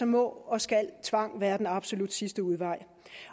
må og skal tvang være den absolut sidste udvej